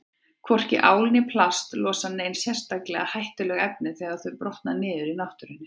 Hvorki ál né plast losa nein sérstaklega hættuleg efni þegar þau brotna niður í náttúrunni.